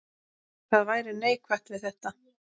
Hvað væri neikvætt við þetta?